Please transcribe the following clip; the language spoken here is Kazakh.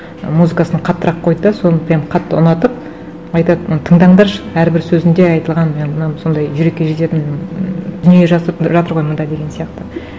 музыкасын қаттырақ қойды да соны прямо қатты ұнатып айтады тыңдаңдаршы әрбір сөзінде айтылған сондай жүрекке жететін ммм дүние жазып жатыр ғой мында деген сияқты